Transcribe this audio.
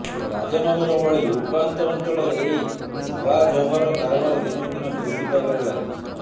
ରାଜନଗର ଭଳି ଉପାନ୍ତ ଅଞ୍ଚଳରେ ଏହି ଧଳାଜହର କାରବାର ଦିନକୁ ଦିନ ବୃଦ୍ଧି ପାଇବାରେ ଲାଗିଛି